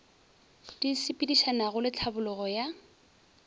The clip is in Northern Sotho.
di sepedišanago le tlhabologo ya